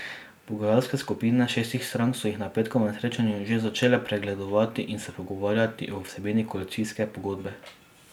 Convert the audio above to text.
Pogajalske skupine šestih strank so jih na petkovem srečanju že začele pregledovati in se pogovarjati o vsebini koalicijske pogodbe.